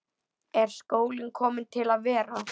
Er skólinn kominn til að vera?